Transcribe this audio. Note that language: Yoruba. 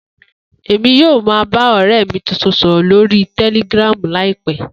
Emi yoo ma ba ọrẹ mi tuntun sọrọ lori Telegram laipẹ.